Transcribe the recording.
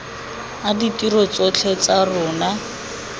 a ditiro tsotlhe tsa tsona